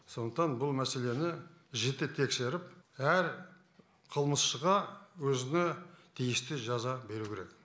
сондықтан бұл мәселені жіті тексеріп әр қылмысшыға өзіне тиісті жаза беру керек